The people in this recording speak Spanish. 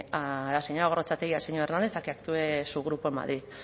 a la señora gorrotxategi y al señor hernández a que actúe su grupo en madrid